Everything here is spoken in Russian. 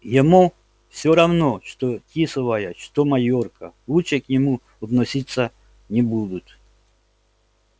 ему всё равно что тисовая что майорка лучше к нему относиться не будут